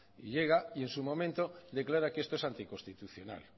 llega y en su momento declara que esto es anticonstitucional